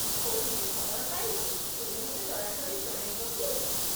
କୌଣସି ଖବର ପାଇଲେ ତୁମେ ମୋତେ ଦୟାକରି ଜଣାଇବ କି?